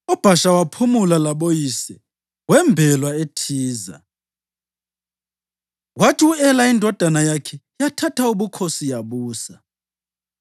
UBhasha waphumula laboyise wembelwa eThiza. Kwathi u-Ela indodana yakhe yathatha ubukhosi yabusa.